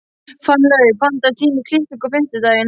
Fannlaug, pantaðu tíma í klippingu á fimmtudaginn.